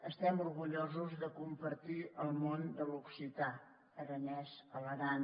estem orgullosos de compartir el món de l’occità aranès a l’aran